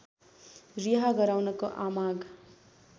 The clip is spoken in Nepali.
रिहा गराउनको आमाग